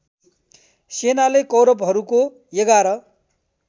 सेनाले कौरवहरूको ११